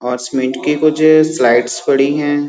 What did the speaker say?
और सीमेंट की कुछ स्लाइड्स पड़ी हैं।